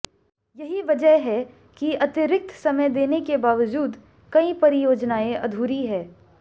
यही वजह है कि अतिरिक्त समय देने के बावजूद कई परियोजनाएं अधूरी हैं